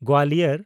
Gwalior